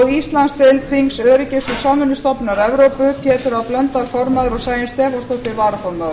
íslandsdeild þings öryggis og samvinnustofnunar evrópu pétur h blöndal formaður og sæunn stefánsdóttir varaformaður